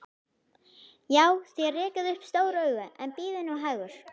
Já, þér rekið upp stór augu, en bíðið nú hægur.